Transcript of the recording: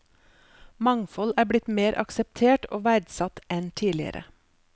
Mangfold er blitt mer akseptert og verdsatt enn tidligere.